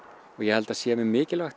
og ég held að það sé mjög mikilvægt